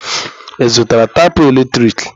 Ị zụtara tapụ eletrik?